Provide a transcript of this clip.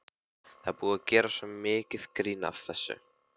Það er búið að gera svo mikið grín að þessu.